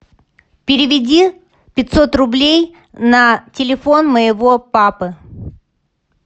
переведи пятьсот рублей на телефон моего папы